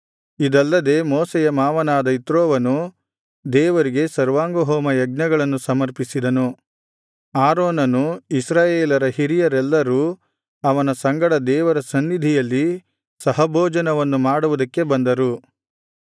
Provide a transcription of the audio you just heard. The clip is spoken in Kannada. ಇದಲ್ಲದೆ ಮೋಶೆಯ ಮಾವನಾದ ಇತ್ರೋವನು ದೇವರಿಗೆ ಸರ್ವಾಂಗಹೋಮ ಯಜ್ಞಗಳನ್ನು ಸಮರ್ಪಿಸಿದನು ಆರೋನನು ಇಸ್ರಾಯೇಲರ ಹಿರಿಯರೆಲ್ಲರೂ ಅವನ ಸಂಗಡ ದೇವರ ಸನ್ನಿಧಿಯಲ್ಲಿ ಸಹಭೋಜನವನ್ನು ಮಾಡುವುದಕ್ಕೆ ಬಂದರು